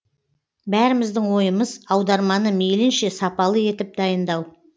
бәріміздің ойымыз аударманы мейлінше сапалы етіп дайындау